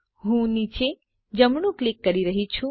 હું નીચે જમણું ક્લિક કરી રહી છું